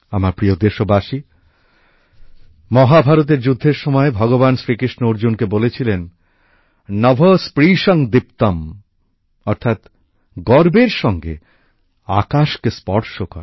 আমার প্রিয় দেশবাসী মহাভারতের যুদ্ধের সময় ভগবান শ্রীকৃষ্ণ অর্জুনকে বলেছিলেন নভঃ স্পৃশং দীপ্তম অর্থাৎ গর্বের সঙ্গে আকাশকে স্পর্শ করা